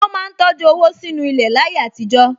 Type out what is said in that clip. Wọ́n máa ń tọjú owó sínú ilẹ̀ láyé àtijọ́